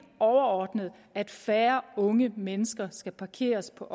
overordnet er at færre unge mennesker skal parkeres på